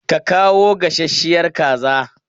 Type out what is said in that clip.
Ka kawo gasasshiyar kaza!